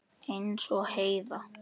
Eins og Heiða.